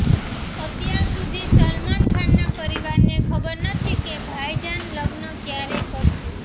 અત્યાર સુધી સલમાન ખાનના પરિવારને ખબર નથી કે ભાઈજાન લગ્ન ક્યારે કરશે